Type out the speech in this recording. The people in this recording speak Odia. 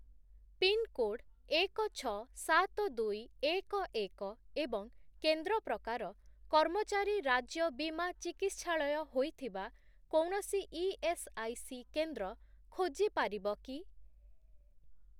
ପିନ୍‌କୋଡ୍ ଏକ, ଛଅ, ସାତ, ଦୁଇ, ଏକ, ଏକ ଏବଂ କେନ୍ଦ୍ର ପ୍ରକାର 'କର୍ମଚାରୀ ରାଜ୍ୟ ବୀମା ଚିକିତ୍ସାଳୟ' ହୋଇଥିବା କୌଣସି ଇଏସ୍ଆଇସି କେନ୍ଦ୍ର ଖୋଜିପାରିବ କି?